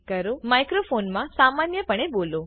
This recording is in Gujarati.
માઈક્રોફોન મા સામાન્ય પણે બોલો